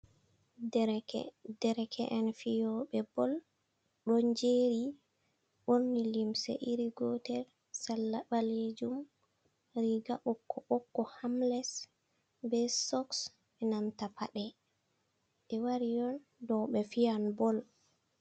Dereke’en fiyoɓe bol, ɗo jeri ɓorni limse iri gotel, salla ɓalejuum, riga ɓokko ɓokko hamles be soks e nanta paɗe be wari on dou be fiyan bol.